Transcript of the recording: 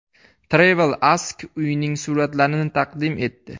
TravelAsk uyning suratlarini taqdim etdi .